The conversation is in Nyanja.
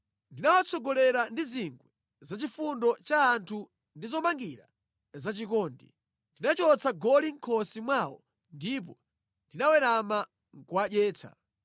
Ndinawatsogolera ndi zingwe zachifundo cha anthu ndi zomangira za chikondi; ndinachotsa goli mʼkhosi mwawo ndipo ndinawerama nʼkuwadyetsa.